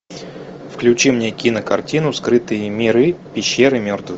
включи мне кинокартину скрытые миры пещеры мертвых